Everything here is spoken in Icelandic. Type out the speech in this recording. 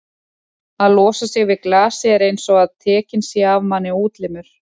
að losa sig við glasið er einsog að tekinn sé af manni útlimur.